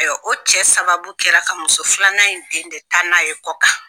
Ayiwa o cɛ sababu kɛra ka muso filanan in den de taa n'a ye kɔ kan.